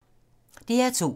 DR2